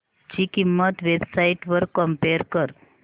ची किंमत web sites वर कम्पेअर कर